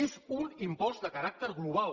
és un impost de caràcter global